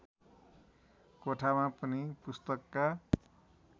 कोठामा पनि पुस्तकका